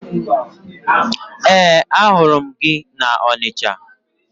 Ee, ahụrụ m gị na Ọnịcha